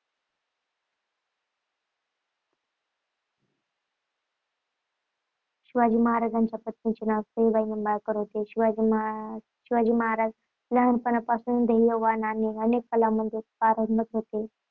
शिवाजी महाराजांच्या पत्नीचे नाव सईबाई निंबाळकर होते. शिवाजी महाराज लहानपणापासून ध्येयवान आणि अनेक कला गुणात पारंगत होते